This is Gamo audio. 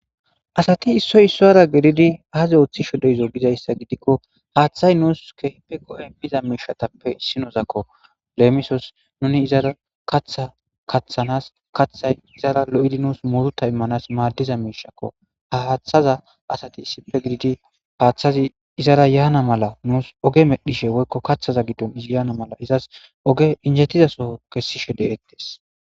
Asati issoy isowura giddidi azi ooththishe de'izo gizayssa gidikko haaththay nuusi keehipe go'iza miishatappe issinozakko. Lemisos nuni izara kaatha kaathanas,kaathay izara lo'iddi muuruta imanas maadiza miishshakko.ha haaththaza asati issippe giididdi haaththazi izara yanna mala Oge medhishshe woykko kesishe de'osonna.